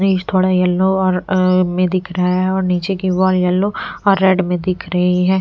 थोड़ा येलो और अअ में दिख रहा है और नीचे की वॉल येलो और रेड में दिख रही है।